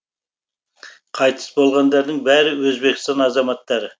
қайтыс болғандардың бәрі өзбекстан азаматтары